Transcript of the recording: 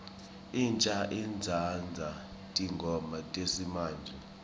insha itsandza tingoma tesimamje